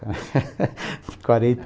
quarenta